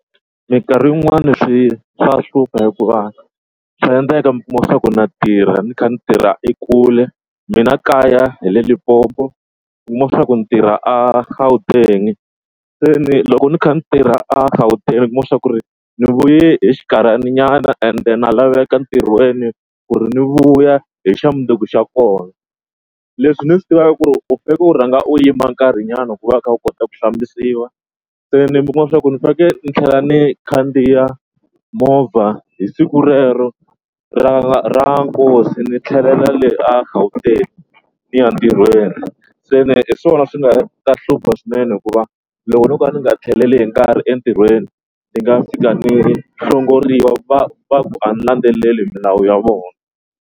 Mikarhi yin'wani swi swa hlupha hikuva swa endleka mi kuma swa ku na tirha ni kha ni tirha ekule. Mina kaya hi le Limpopo kuma swa ku ni tirha a Gauteng seni loko ni kha ni tirha a Gauteng kuma swa ku ri ni vuye hi xinkarhaninyana and na laveka ntirhweni ku ri ni vuya hi xa mundzuku xa kona. Leswi ni swi tivaka ku ri u rhanga u yima nkarhinyana ku va u kha u kota ku hlambisiwa seni mi kuma swa ku ni faneke ni tlhela ni khandziya movha hi siku rero ra ra nkosi ni tlhelela le a Gauteng ni ya ntirhweni. Se ni hi swona swi nga ta hlupha swinene hikuva loko no ka ni nga tlheleli hi nkarhi entirhweni ni nga fika ni ri hlongoriwa va va ku a landzeleli milawu ya vona.